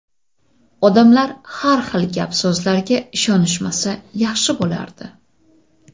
Odamlar har xil gap-so‘zlarga ishonishmasa yaxshi bo‘lardi.